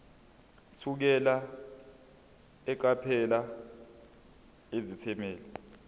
thukela eqaphela izethameli